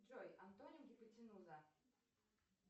джой антоним гипотенуза